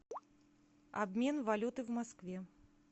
обмен валюты в москве